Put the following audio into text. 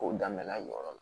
K'o daminɛna